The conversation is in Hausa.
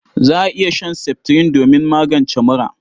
Za a iya shan seftirin domin magance mura..